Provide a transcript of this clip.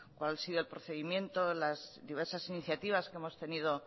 cuál ha sido el procedimiento las diversas iniciativas que hemos tenido